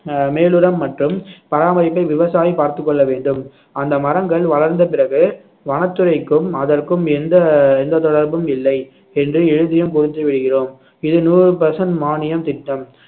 அஹ் மேலுரம் மற்றும் பராமரிப்பை விவசாயி பார்த்துக் கொள்ள வேண்டும் அந்த மரங்கள் வளர்ந்த பிறகு வனத்துறைக்கும் அதற்கும் எந்த எந்த தொடர்பும் இல்லை என்று எழுதியும் கொடுத்து விடுகிறோம் இது நூறு percent மானியம் திட்டம்